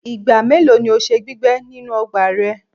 Igba melo ni o ṣe gbigbẹ ninu ọgba rẹ?